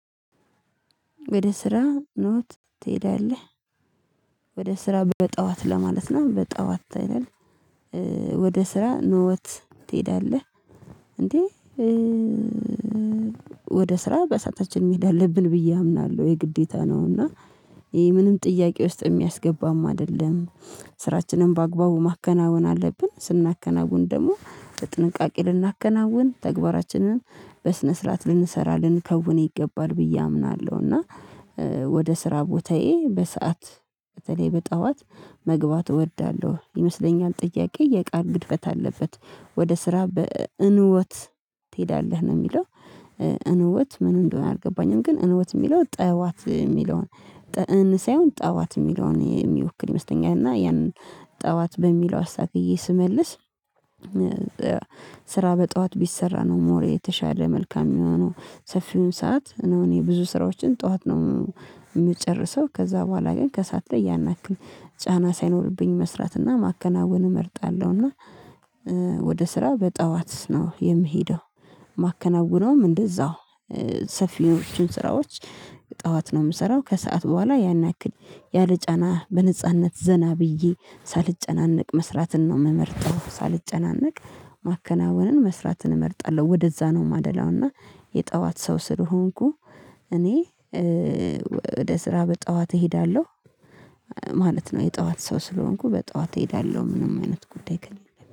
ወደ ስራ ኖት ትሄዳለህ? ወደ ስራ በጠዋት ለማለት ነው በጠዋት አይደል? ወደ ስራ ንወት ትሄዳለህ? እንዴ ወደ ስራ በሰአታችን መሄድ አለብን ብዬ አምናለሁ የግዴታ ነው እና ይሄ ምንም ጥያቄ ውስጥ የሚያስገባም አይደለም። ስራችንን በአግባቡ ማከናወን አለብን ስናከናውን ደግሞ በጥንቃቄ ልናከናውን ተግባራችንን በስነ ስርዓት ልንሰራ ልንከውን ይገባል ብዬ አምናለሁ እና ወደ ስራ ቦታዬ በሰአት በተለይ በጠዋት መግባት እወዳለሁ ይመስለኛል። ጥያቄ የቃል ግድፈት አለበት ወደ ስራ በእንወት ትሄዳለህ ነው የሚለው እንወት ምን እንደሆነ አልገባኝም። ግን እንወት የሚለው ጠዋት የሚለውን ጠእን ሳይሆን ጠዋት የሚለውን የሚወክል ይመስለኛል እና ያንን ጠዋት በሚለው አስተካክዬ ስመልስ። ስራ በጠዋት ቢሰራ ነው ሞር የተሻለ መልካም የሚሆነው ሰፊውን ሰዓት ነው እኔ ብዙ ስራዎችን ጠዋት ነው የምጨርሰው ከዛ በኋላ ግን ከሰአት ላይ ያናክል ጫና ሳይኖርብኝ መስራትና ማከናወን እመርጣለሁና። ወደ ስራ በጠዋት ነው የምሄደው። ማከናወነውም እንደዛው ሰፊዎችን ስራዎች ጠዋት ነው የምሰራው ከሰአት በኋላ ያን ያክል ያለ ጫና በነጻነት ዘና ብዬ ሳልጨናነቅ መስራትን ነው የምመርጠው ሳልጨናነቅ ማከናወንን መስራትን እመርጣለሁ ወደዛ ነው የማደላው። እና የጠዋት ሰው ስለሆንኩ እኔ ወደ ስራ በጠዋት እሄዳለሁ ማለት ነው። የጠዋት ሰው ስለሆንኩ በጠዋት እሄዳለሁ ምንም አይነት ጉዳይ ከሌለ